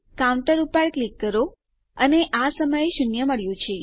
counter પર click કરો અને આ સમયે આપણને શૂન્ય મળ્યું છે